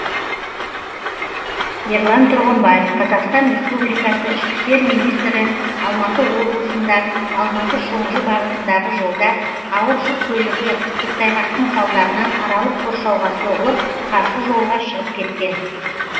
ерлан тұрғымбаев қазақстан республикасы ішкі істер министрі алматы облысында алматы шоңжы бағытындағы жолда ауыр жүк көлігі көктайғақтың салдарынан аралық қоршауға соғылып қарсы жолға шығып кеткен